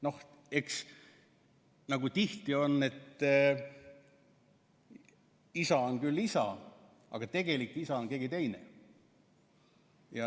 Noh, eks tihti on nii, et isa on küll isa, aga tegelik isa on keegi teine.